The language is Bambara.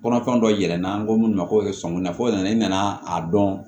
Kɔnɔfɛn dɔ yir'i la an ko minnu ma ko sɔɔni nafɔ naɲini nana a dɔn